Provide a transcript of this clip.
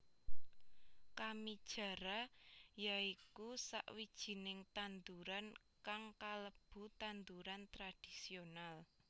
Kamijara ya iku sawijining tanduran kang kalebu tanduran tradhisional